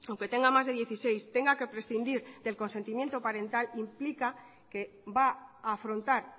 aunque tenga más de dieciséis tenga que prescindir del consentimiento parental implica que va a afrontar